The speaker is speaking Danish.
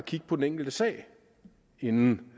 kigge på den enkelte sag inden